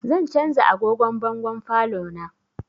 Zan canza agogon bangon falon na